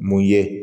Mun ye